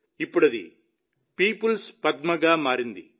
ఇప్పుడు అది పీపుల్స్ పద్మగా మారింది